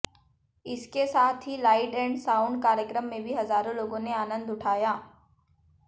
इसके साथ ही लाइट एंड साउंड कार्यक्रम में भी हजारों लोगों ने आनंद उठाया